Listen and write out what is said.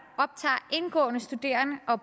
optager indgående studerende og